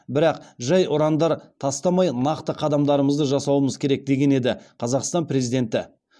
бірақ жай ұрандар тастамай нақты қадамдарымызды жасауымыз керек деген еді қазақстан президенті